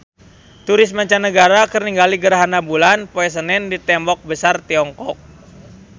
Turis mancanagara keur ningali gerhana bulan poe Senen di Tembok Besar Tiongkok